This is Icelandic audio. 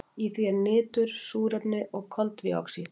Í því eru nitur, súrefni og koltvíoxíð.